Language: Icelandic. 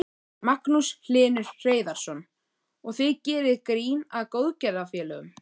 Magnús Hlynur Hreiðarsson: Og þið gerið grín að góðgerðarfélögum?